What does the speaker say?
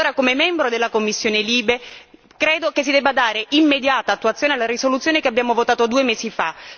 Allora, come membro della commissione LIBE, credo che si debba dare immediata attuazione alla risoluzione che abbiamo votato due mesi fa.